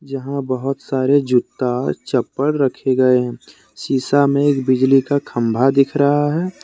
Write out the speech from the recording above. जहां बहुत सारे जूता चप्पल रखे गए हैं शीशा में एक बिजली का खंभा दिख रहा है।